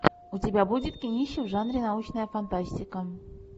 у тебя будет кинище в жанре научная фантастика